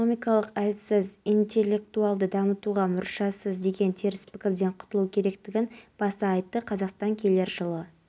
дейін наурызыш шарбақты құлагер атамұра көкарал сарыкеңгір мүсірепов ақ-бұлақ шағын ауданы толстой мен абыралы қиылыстары